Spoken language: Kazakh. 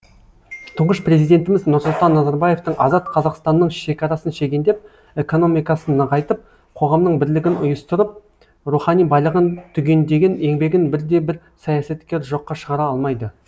тұңғыш президентіміз нұрсұлтан назарбаевтың азат қазақстанның шекарасын шегендеп экономикасын нығайтып қоғамның бірлігін ұйыстырып рухани байлығын түгендеген еңбегін бірде бір саясаткер жоққа шығара алмайды